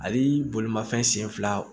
Ani bolimafɛn sen fila